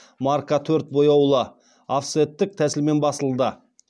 марка төрт бояулы офсеттік тәсілмен басылды